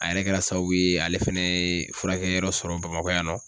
A yɛrɛ kɛra sababu ye ale fɛnɛ ye furakɛli yɔrɔ sɔrɔ bamakɔ yan nɔ.